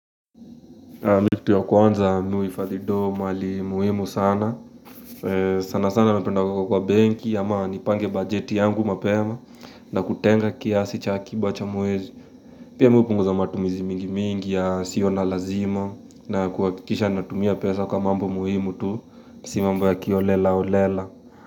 Mi kitu ya kwanza, mimi huhifadhi do mali muhimu sana. Sana sana mpenda kwa kwa benki, ama nipange bajeti yangu mapema na kutenga kiasi cha akiba cha muezi. Pia hupunguza matumizi mingi mingi ya siyo na lazima na kuhakikisha natumia pesa kwa mambo muhimu tu, si mambo ya kioholelaholela.